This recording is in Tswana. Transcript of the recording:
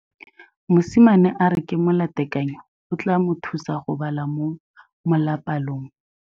Mosimane a re molatekanyô o tla mo thusa go bala mo molapalong.